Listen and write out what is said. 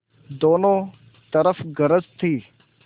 दोनों तरफ गरज थी